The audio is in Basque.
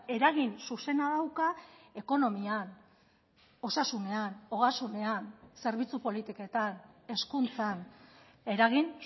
eragin zuzena dauka ekonomian osasunean ogasunean zerbitzu politiketan hezkuntzan eragin